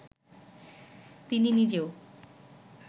তিনি নিজেও